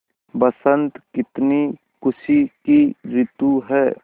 बसंत कितनी खुशी की रितु है